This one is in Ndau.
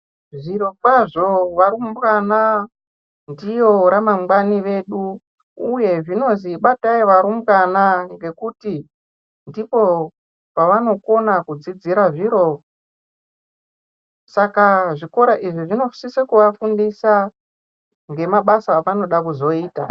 Zvirikozvo varumbwana ndiyo ramangwani redu uye zvinozi batai varumbwana ngekuti ndiko kwavanokona kudzidzira zviro saka zvikora izvi zvinosisa kuvafundisa nemabasa avanoda kuzoita.